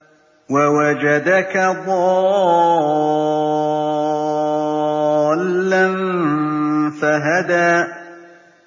وَوَجَدَكَ ضَالًّا فَهَدَىٰ